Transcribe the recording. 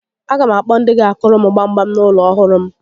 A ga m akpọ ndị ga akụrụ m gbam gbam n'ulo ọhụrụ m